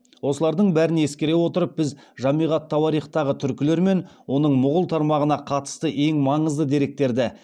осылардың бәрін ескере отырып біз жамиғ ат тауарихтағы түркілер мен оның мұғул тармағына қатысты ең маңызды деректерді